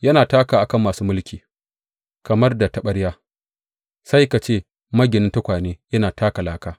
Yana takawa a kan masu mulki kamar da taɓarya, sai ka ce maginin tukwane yana taka laka.